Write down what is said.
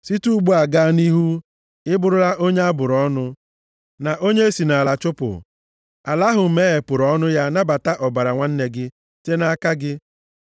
Site ugbu a gaa nʼihu ị bụrụla onye a bụrụ ọnụ, na onye e si nʼala chụpụ, ala ahụ meghepụrụ ọnụ ya nabata ọbara nwanne gị, site nʼaka gị.